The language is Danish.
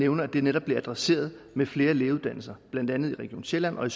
nævner at det netop bliver adresseret med flere lægeuddannelser i blandt andet region sjælland og